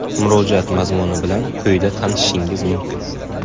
Murojaat mazmuni bilan quyida tanishishingiz mumkin.